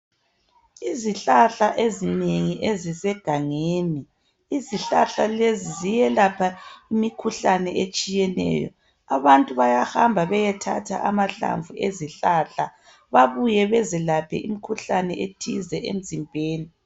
Izihlahla ezinengi ezisegangeni. Izihlahla lezi ziyelapha imikhuhlane etshiyeneyo. Abantu bayahamba beyethatha amahlamvu ezihlahla babuye bezilaphe imikhuhlane ethize emzimbeni.